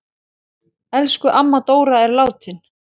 Elsku amma Dóra er látin.